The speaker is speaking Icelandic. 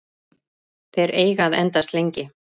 Þeir eiga að endast lengi.